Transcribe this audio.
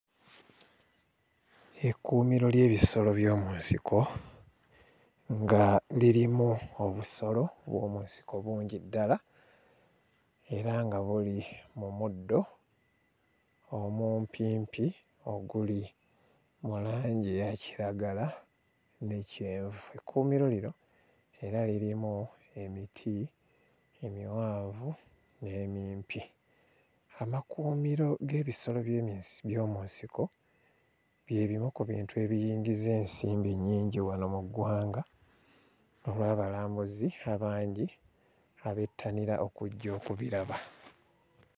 Ekkuumiro ly'ebisolo by'omu nsiko nga lirimu obusolo bw'omu nsiko bungi ddala era nga buli mu muddo omumpimpi oguli mu langi eya kiragala ne kyenvu. Ekkuumiro lino era lirimu emiti emiwanvu n'emimpi. Amakuumiro g'ebisolo by'eminsi... by'omu nsiko bye bimu ku bintu ebiyingiza ensimbi ennyingi wano mu ggwanga olw'abalambuzi abangi abettanira okujja okubiraba.